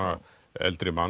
eldri mann